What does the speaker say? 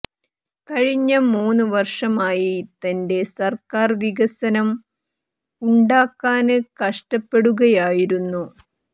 കഴിഞ്ഞ മൂന്ന് വര്ഷമായി തന്റെ സര്ക്കാര് വികസനം ഉണ്ടാക്കാന് കഷ്ടപ്പെടുകയായിരുന്നു